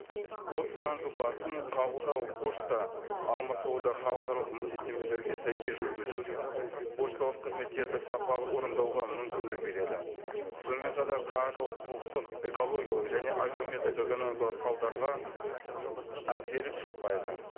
осы заң жобасын қабылдау пошта алмасуды халықаралық міндеттемелерге сәйкес жүргізуге пошталық қызметтерді сапалы орындауға мүмкіндік береді сонымен қатар қаржылық құқықтық экологиялық және әлеуметтік экономикалық салдарға әкеліп соқпайды